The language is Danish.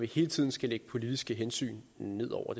hele tiden skal lægge politiske hensyn ned over